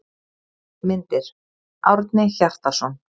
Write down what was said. Myndir: Árni Hjartarson.